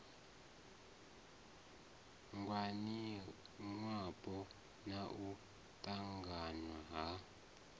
ngwaniwapo na u ṱanganywa ha